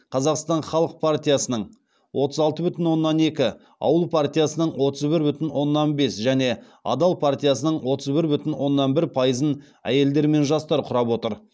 қазақстан халық партиясының отыз алты бүтін оннан екі ауыл партиясының отыз бір бүтін оннан бес және адал партиясының отыз бір бүтін оннан бір пайызын әйелдер мен жастар құрап отыр